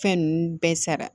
Fɛn ninnu bɛɛ sara